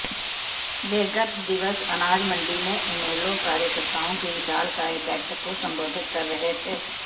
वे गत दिवस अनाजमंडी में इनेलो कार्यकर्ताओं की विशालकाय बैठक को संबोधित कर रहे थे